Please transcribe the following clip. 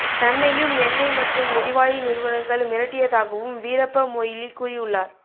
தன்னையும் எண்ணெய் மற்றும் எரிவாயு நிறுவனங்கள் மிரட்டியதாகவும் வீரப்ப மொய்லி கூறியுள்ளார்